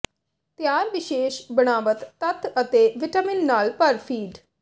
ਤਿਆਰ ਵਿਸ਼ੇਸ਼ ਬਣਾਵਟ ਤੱਤ ਅਤੇ ਵਿਟਾਮਿਨ ਨਾਲ ਭਰ ਫੀਡ